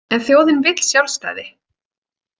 En þjóðin vill sjálfstæði.